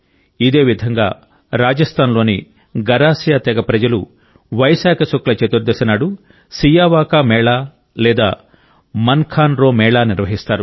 ఇదేవిధంగా రాజస్థాన్లోని గరాసియా తెగ ప్రజలు వైశాఖ శుక్ల చతుర్దశి నాడు సియావా కా మేళా లేదా మన్ ఖాన్ రో మేళా నిర్వహిస్తారు